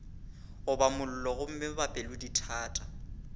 goba mollo gomme ba pelodithata